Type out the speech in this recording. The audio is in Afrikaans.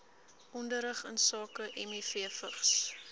onderrig insake mivvigs